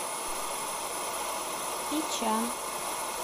ичан